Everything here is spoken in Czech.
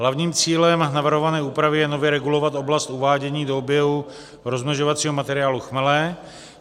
Hlavním cílem navrhované úpravy je nově regulovat oblast uvádění do oběhu rozmnožovacího materiálu chmele.